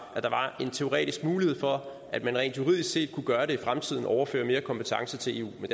at der var en teoretisk mulighed for at man rent juridisk set kunne gøre det i fremtiden altså overføre mere kompetence til eu men